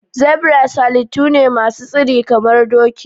Zebras halittu ne masu tsiri kamar doki.